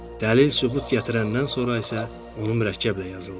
Dəlil sübut gətirəndən sonra isə onu mürəkkəblə yazırlar.